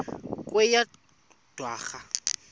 kweyedwarha